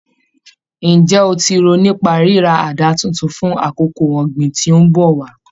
Ǹjẹ́ o ti rò nípa ríra àdá titun fún àkókò ọ̀gbìn tí ń bọ̀ wá?